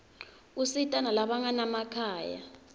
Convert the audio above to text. usita nalabanganamakhaya